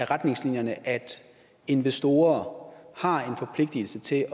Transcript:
retningslinjerne at investorer har en forpligtigelse til